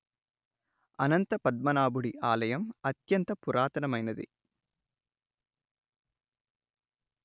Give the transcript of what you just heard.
అనంత పద్మనాభుడి ఆలయం అత్యంత పురాతనమైనది